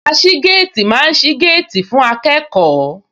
Aṣígéètì máa ń sí géètì fún akẹ́kọ̀ọ́